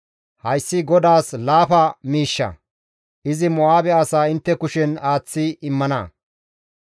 Hayssi GODAAS laafa miishsha. Izi Mo7aabe asaa intte kushen aaththi immana.